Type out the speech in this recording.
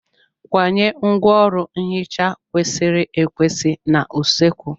Kwanye ngwaọrụ nhicha kwesịrị ekwesị n'usekwu.